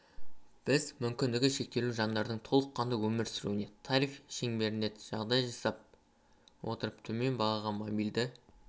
біз мүмкіндігі шектеулі жандардың толыққанды өмір сүруіне тариф шеңберінде жағдай жасай отырып төмен бағаға мобильді